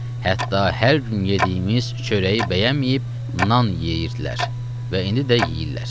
Hətta hər gün yediyimiz çörəyi bəyənməyib nan yeyirdilər və indi də yeyirlər.